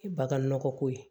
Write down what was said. Bagan nɔgɔko ye